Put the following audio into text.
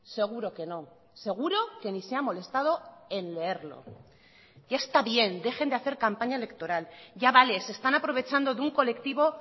seguro que no seguro que ni se ha molestado en leerlo ya está bien dejen de hacer campaña electoral ya vale se están aprovechando de un colectivo